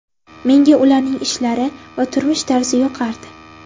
Menga ularning ishlari va turmush tarzi yoqardi.